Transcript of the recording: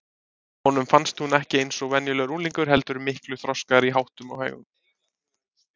Honum fannst hún ekki eins og venjulegur unglingur heldur miklu þroskaðri í háttum og hegðun.